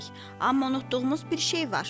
Amma unutduğumuz bir şey var.